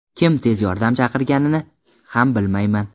Kim tez yordam chaqirganini ham bilmayman”.